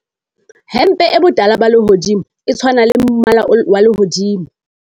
hempe e botala ba lehodimo e tshwana le mmala wa lehodimo